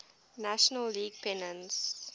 national league pennants